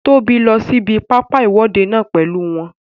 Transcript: Tóbi lọ sí ibi pápá ìwọ́de náà pèlú wọn